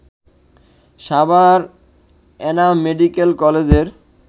Savar Enam medical কলেজের